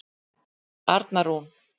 Arna Rún.